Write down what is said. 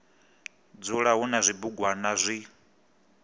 dzula hu na zwibugwana zwi